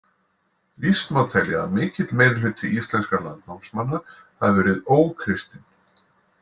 Víst má telja að mikill meirihluti íslenskra landnámsmanna hafi verið ókristinn.